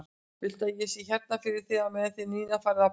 Viltu að ég sé hérna fyrir þig á meðan þið Nína farið á ballið?